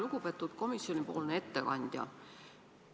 Lugupeetud komisjonipoolne ettekandja!